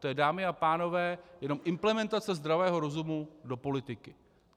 To je, dámy a pánové, jenom implementace zdravého rozumu do politiky.